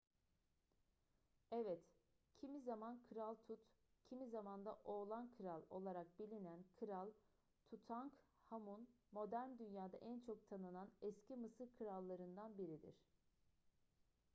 evet kimi zaman kral tut kimi zaman da oğlan kral olarak bilinen kral tutankhamun modern dünyada en çok tanınan eski mısır krallarından biridir